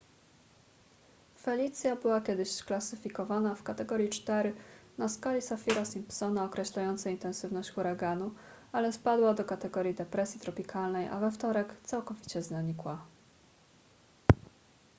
felicia była kiedyś klasyfikowana w kategorii 4 na skali saffira-simpsona określającej intensywność huraganu ale spadła do kategorii depresji tropikalnej a we wtorek całkowicie zanikła